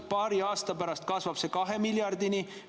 Paari aasta pärast kasvab see 2 miljardini.